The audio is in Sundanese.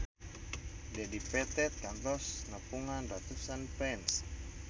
Dedi Petet kantos nepungan ratusan fans